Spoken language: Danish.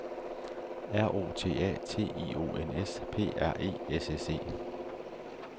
R O T A T I O N S P R E S S E